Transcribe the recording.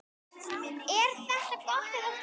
Er þetta gott eða slæmt?